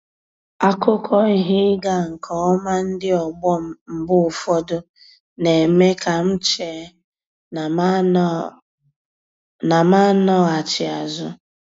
Akụkọ ihe ịga nke ọma ndị ọgbọ m mgbe ụfọdụ, na-eme ka m chee na m n'anọghachi azụ.